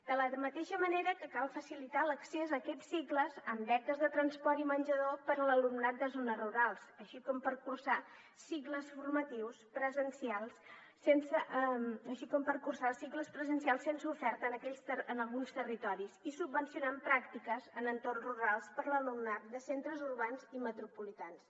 de la mateixa manera que cal facilitar l’accés a aquests cicles amb beques de transport i menjador per a l’alumnat de zones rurals així com per cursar cicles formatius presencials sense oferta en alguns territoris i subvencionant pràctiques en entorns rurals per a l’alumnat de centres urbans i metropolitans